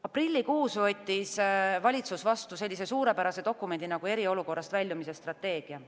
Aprillikuus võttis valitsus vastu sellise suurepärase dokumendi nagu eriolukorrast väljumise strateegia.